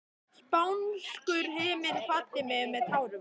Spánskur himinn kvaddi mig með tárum.